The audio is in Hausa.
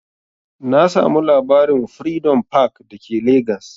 Na samu labarin'Freedom park' da ke legas